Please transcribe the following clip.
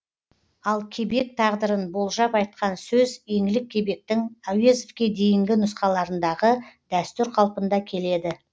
ал кебек тағдырын болжап айтқан сөз еңлік кебектің әуезовке дейінгі нұсқаларындағы дәстүр қалпында келеді